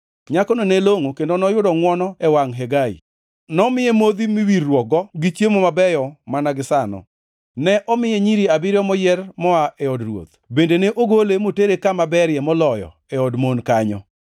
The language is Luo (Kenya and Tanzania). Nyakono ne longʼo kendo noyudo ngʼwono e wangʼ Hegai. Nomiye modhi miwirruokgo gi chiemo mabeyo mana gisano. Nomiye nyiri abiriyo moyier moa e od ruoth bende ne ogole motere kama berie moloyo e od mon kanyo.